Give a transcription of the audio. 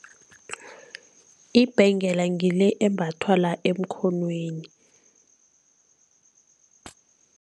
Ibhengela ngile embathwa la emkhonweni.